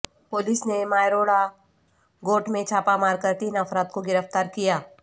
police نے ماروئڑا گوٹھ میں چھاپہ مار کر تین افراد کو گرفتار کیا